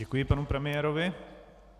Děkuji panu premiérovi.